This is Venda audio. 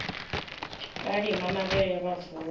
vha lima mavhele vha vuwa